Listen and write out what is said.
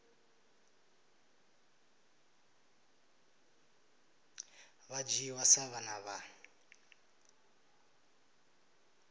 vha dzhiwa sa vhana vha